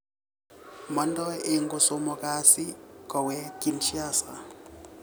Mandoi eng kosomok kasi koweek Kinsasha